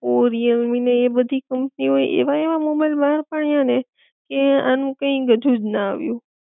ઑ Realme ને એ બધી કંપની ઑ એ એવા એવા મોબાઈલ બાર પાડ્યા ને કે આનું કી ગજું જ ના આવ્યું